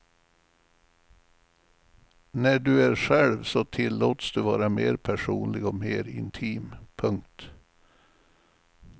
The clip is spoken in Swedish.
När du är själv så tillåts du vara mer personlig och mer intim. punkt